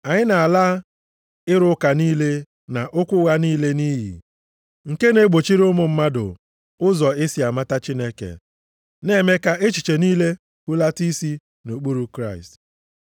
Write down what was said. Anyị na-ala ịrụ ụka niile na okwu ụgha niile nʼiyi, nke na-egbochiri ụmụ mmadụ ụzọ e si amata Chineke, na-eme ka echiche niile hulata isi nʼokpuru Kraịst.